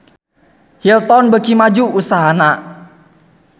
Hilton beuki maju usahana